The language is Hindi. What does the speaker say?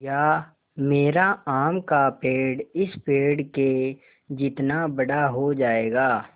या मेरा आम का पेड़ इस पेड़ के जितना बड़ा हो जायेगा